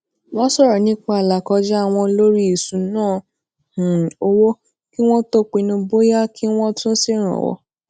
wón soro nipa alakoja won lori ìṣúnná um owó kí wón tó pinnu bóyá kí wón tún ṣèrànwó